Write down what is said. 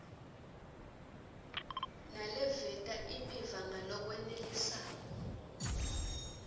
naleveta imiva ngalokwenelisako